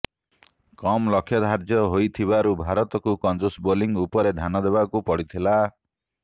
କମ୍ ଲକ୍ଷ୍ୟ ଧାର୍ଯ୍ୟ ହୋଇଥିବାରୁ ଭାରତକୁ କଞ୍ଜୁସ୍ ବୋଲିଂ ଉପରେ ଧ୍ୟାନ ଦେବାକୁ ପଡ଼ିଥିଲା